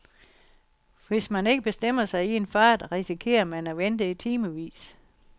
Hvis man ikke bestemmer sig i en fart, risikerer man at vente i timevis.